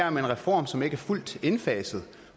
om en reform som ikke er fuldt indfaset